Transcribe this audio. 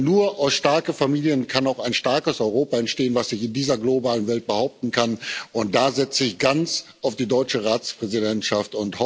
Denn nur aus starken Familien kann auch ein starkes Europa entstehen, das sich in dieser globalen Welt behaupten kann, und da setze ich ganz auf die deutsche Ratspräsidentschaft.